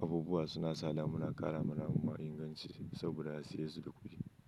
abubuwa suna sada muna ƙarama abubuwa ingancin saboda a saye yesu da kuɗi.